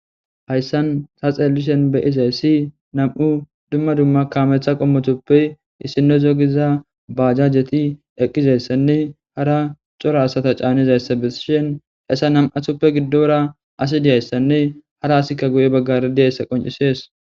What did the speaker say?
Hayssan ta xeelishen be7izayssi nam7u dumma dumma kaametha qommotuppe issino gidiza baajajeti eqqizayssanne hara cora asata caanizayssa besishen essa nam7athuppe giddora asi diyayssanne hara asikka guye baggari diyayssa qoncisees.